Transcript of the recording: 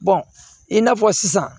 i n'a fɔ sisan